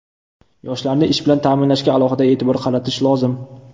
Yoshlarni ish bilan ta’minlashga alohida e’tibor qaratish lozim.